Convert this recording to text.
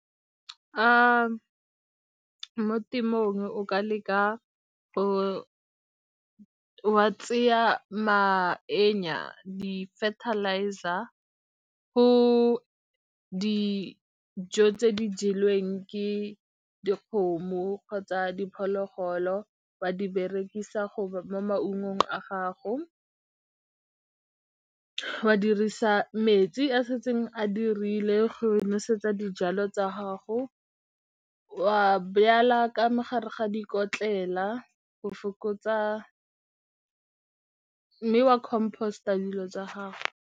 Mo temong o ka leka go wa tseya di fertilizer go dijo tse di jelweng ke dikgomo kgotsa diphologolo wa di berekisa go mo maungong a gago, wa dirisa metsi a setseng a dirile go nosetsa dijalo tsa gago, wa ka mo gare ga dikotlele go fokotsa wa compost-a dilo tsa gago.